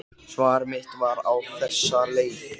Svar mitt var á þessa leið